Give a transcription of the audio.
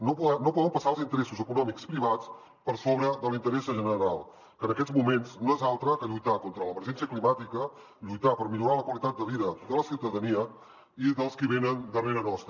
no poden passar els interessos econòmics privats per sobre de l’interès general que en aquests moments no és altre que lluitar contra l’emergència climàtica lluitar per millorar la qualitat de vida de la ciutadania i dels qui venen darrere nostre